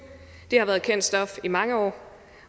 har været kendt stof i mange år